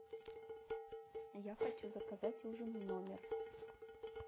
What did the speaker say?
я хочу заказать ужин в номер